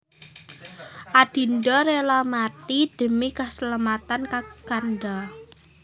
Adinda rela mati demi keselamatan Kakanda